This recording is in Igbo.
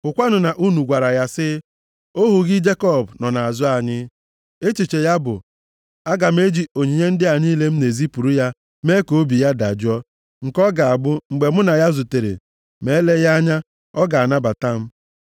Hụkwanụ na unu gwara ya sị, ‘Ohu gị Jekọb nọ nʼazụ anyị.’ ” Echiche ya bụ, “Aga m eji onyinye ndị a niile m na-ezipụrụ ya mee ka obi ya dajụọ, nke ọ ga-abụ mgbe mụ na ya zutere, ma eleghị anya, ọ ga-anabata m.”